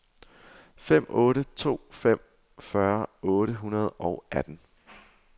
fem otte to fem fyrre otte hundrede og atten